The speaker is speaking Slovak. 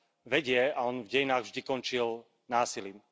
vedie, a on v dejinách vždy končil násilím.